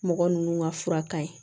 Mɔgɔ ninnu ka fura ka ɲi